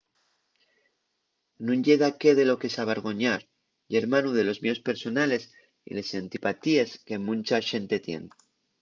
nun ye daqué de lo que s’avergoñar: ye hermanu de los mieos personales y les antipatíes que muncha xente tien